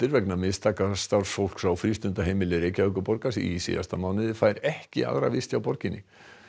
vegna mistaka starfsfólks á frístundaheimili Reykjavíkurborgar í síðasta mánuði fær ekki aðra vist hjá borginni